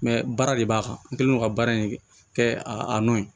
baara de b'a kan n kɛlen don ka baara in kɛ a nɔ ye